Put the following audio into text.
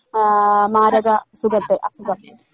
മാരക അസുഖത്തെ അസുഖം.